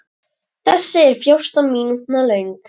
Þessi er fjórtán mínútna löng.